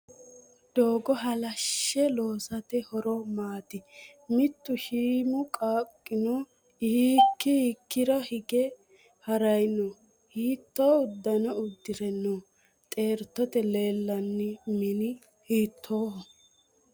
Doogo halashshe loosate horo maati? Mittu shiimu qaaqqino hiikki hiikkira hige harayi noo? Hiitto uddano uddire no? Xeertote leellanno mini hiittoho?